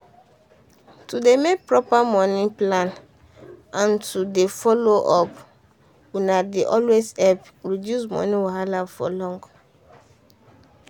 to dey make proper money plan and to dey follow up una dey always help reduce money wahala for long.